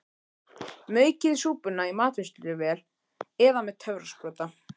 Maukið súpuna í matvinnsluvél eða með töfrasprota.